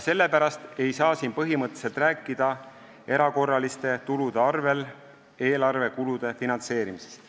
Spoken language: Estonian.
Sellepärast ei saa siin põhimõtteliselt rääkida erakorraliste tulude arvel eelarvekulude finantseerimisest.